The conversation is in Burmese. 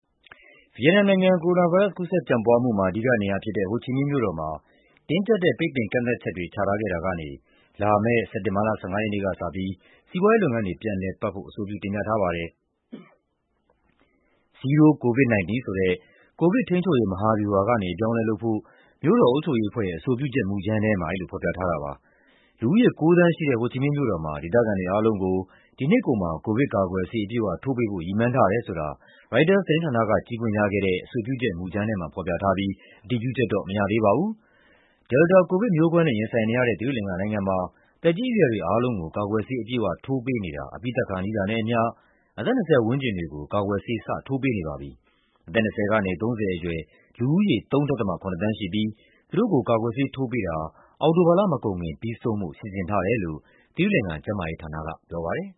ဗီယက်နမ်နိုင်ငံ၊ ကိုရိုနာဗိုင်းရပ်စ် ကူးစက်ပျံ့ပွားမှုမှာ အဓိကနေရာဖြစ်တဲ့ ဟိုချီမင်းမြို့တော်မှာ တင်းကျပ်တဲ့ ပိတ်ပင်ကန့်သတ်ချက်တွေ ချထားခဲ့တာကနေ လာမယ့် စက်တင်ဘာလ ၁၅ ရက်နေ့ကစပြီး စီးပွားရေးလုပ်ငန်းတွေ ပြန်လည်ပတ်ဖို့ အဆိုပြုတင်ပြထားပါတယ်။ "Zero-COVID-19" ဆိုတဲ့ ကိုဗစ်ထိန်းချုပ်ရေး မဟာဗျူဟာကနေ အပြောင်းအလဲလုပ်ဖို့ မြို့တော်အုပ်ချုပ်ရေးအဖွဲ့ရဲ့ အဆိုပြုချက်မူကြမ်းထဲမှာ အဲဒီလိုဖော်ပြထားတာပါ။ လူဦးရေ ၉ သန်းရှိတဲ့ ဟိုချီမင်းမြို့တော်မှာ ဒေသခံတွေအားလုံးကို ဒီနှစ်ကုန်မှာ ကိုဗစ်ကာကွယ်ဆေး အပြည့်အဝထိုးပေးဖို့ ရည်မှန်းထားတယ်ဆိုတာ ရိုက်တာသတင်းဌာနက ကြည့်ခွင့်ရခဲ့တဲ့ အဆိုပြုချက်မူကြမ်းထဲမှာ ဖော်ပြထားပြီး အတည်ပြုချက်တော့ မရသေးပါဘူး။ Delta ကိုဗစ်မျိုးကွဲနဲ့ ရင်ဆိုင်နေရတဲ့ သီရိလင်္ကာနိုင်ငံမှာ သက်ကြီးအရွယ်တွေအားလုံးကို ကာကွယ်ဆေး အပြည့်အဝထိုးပေးနေတာ အပြီးသတ်ခါနီးတာနဲ့အမျှ အသက် ၂၀ ပတ်ဝန်းကျင်တွေကို ကာကွယ်ဆေး စထိုးပေးနေပါပြီ။ အသက် ၂၀ ကနေ ၃၀ အရွယ် လူဦးရေရ ၃.၇ သန်းရှိပြီး သူတို့ကို ကာကွယ်ဆေးထိုးပေးတာ အောက်တိုဘာလမကုန်ခင် ပြီးဆုံးဖို့ စီစဉ်ထားတယ်လို့ သီရိလင်္ကာ ကျန်းမာရေးဌာနက ပြောပါတယ်